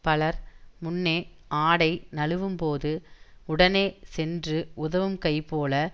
பலர் முன்னே ஆடை நழுவும்போது உடனே சென்று உதவும் கை போல